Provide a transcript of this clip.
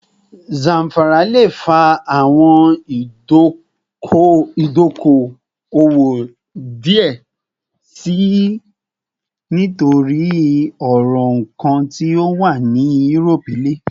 Zamfara le fa awọn idoko-owo diẹ sii nitori ọrọ nkan ti o wa ni erupe ile